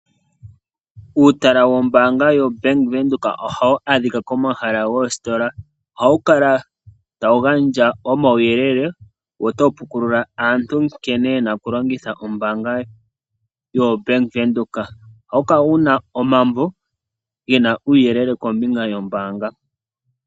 Uutala wombaanga yoBank Windhoek ohawu adhika komahala goositola. Ohawu kala tawu gandja omauyelele, wo otawu pukula aantu nkene yena oku longitha ombaanga yoBank Windhoek, ohawu kala wuna omambo gena uuyeleel kombinga yombaanga.